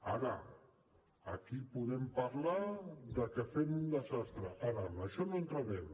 aquí podem parlar de que fem un desastre ara en això no hi entrarem